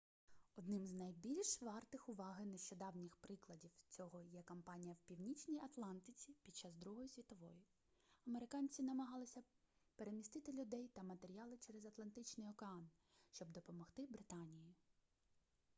одним з найбільш вартих уваги нещодавніх прикладів цього є кампанія в північній атлантиці під час другої світової американці намагалися перемістити людей та матеріали через атлантичний океан щоб допомогти британії